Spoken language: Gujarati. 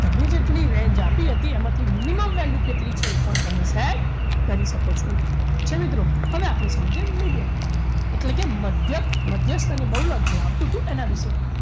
તમે જેટલી range આપી હતી એમાંથી minimum value કેટલી છે એ પણ તમે set કરી શકો છો ઠીક છે મિત્રો હવે આપણે સમજીએ medium એટલે કે મધ્યક મધ્યસ્થ અને બહુલક જે આવતું હતું એના વિશે